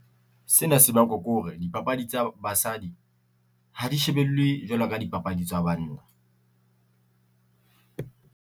Sena se bakwa ke hore dipapadi tsa basadi, ha di shebellwe jwalo ka dipapadi tsa banna.